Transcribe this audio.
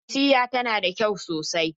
Ikilisiyar tana da kyau sosai.